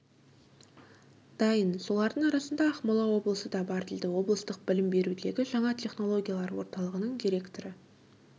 дайын солардың арасында ақмола облысы да бар дейді облыстық білім берудегі жаңа технологиялар орталығының директоры